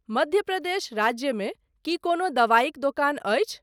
मध्य प्रदेश राज्य मे की कोनो दवाइक दोकान अछि ?